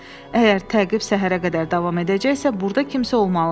Əgər təqib səhərə qədər davam edəcəksə, burda kimsə olmalıdır.